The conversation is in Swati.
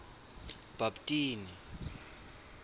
bhabtini